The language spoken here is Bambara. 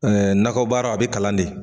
Ɛɛ nakɔbaara a be kalan de